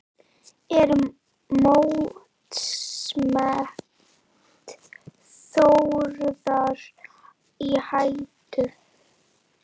Er mótsmet Þórðar í hættu?